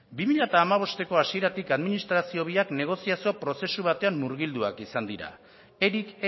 bi mila hamabosteko hasieratik administrazio biak negoziazio prozesu batean murgilduak izan dira eric